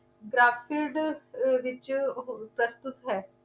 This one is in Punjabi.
ਦੇ ਵਿਚ ਪ੍ਰਸਤੁਤ ਹੈ